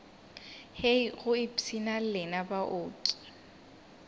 hei go ipshina lena baoki